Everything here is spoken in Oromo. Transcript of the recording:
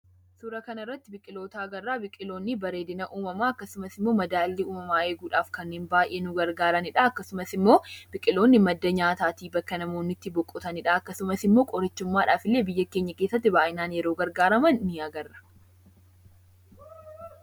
Suuraa kana irratti biqiloota agarra. Biqiloonni bareedina uumamaa akkasumas madaallii uumamaa eeguudhaaf kan baay'ee nu gargaaranidha. Akkasumas immoo biqioonni madda nyaataati, bakka namootni itti boqotanidha, akkasumas illee qorichummaadhaaf biyya keenya keessatti yeroo itti gargaaraman ni agarra.